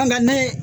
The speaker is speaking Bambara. Nka ne